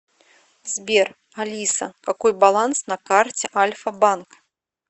сбер алиса какой баланс на карте альфа банк